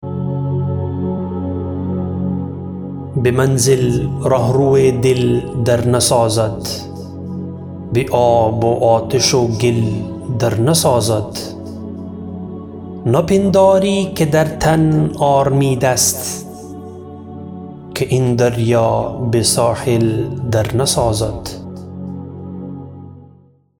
بمنزل رهرو دل در نسازد به آب و آتش و گل در نسازد نپنداری که در تن آرمید است که این دریا به ساحل در نسازد